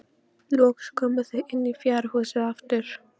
Loks komu þau inn í fjárhúsið aftur.